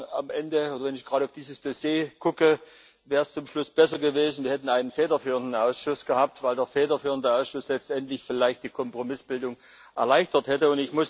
Ich muss sagen, am Ende, wenn ich gerade auf dieses Dossier schaue, wäre es besser gewesen, wir hätten einen federführenden Ausschuss gehabt, weil der federführende Ausschuss letztendlich vielleicht die Kompromissbildung erleichtert hätte.